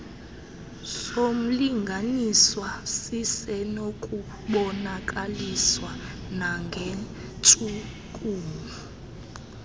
somlinganiswa sisenokubonakaliswa nangentshukumo